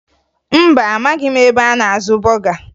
Mba, amaghị m ebe a na-azụ bọga